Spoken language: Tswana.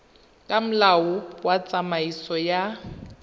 ka molao wa tsamaiso ya